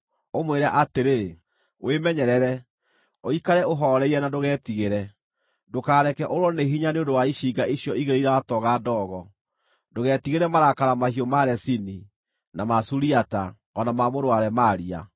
Ũmwĩre atĩrĩ, ‘Wĩmenyerere, ũikare ũhooreire na ndũgetigĩre. Ndũkareke ũũrwo nĩ hinya nĩ ũndũ wa icinga icio igĩrĩ iratooga ndogo; ndũgetigĩre marakara mahiũ ma Rezini, na ma Suriata, o na ma mũrũ wa Remalia.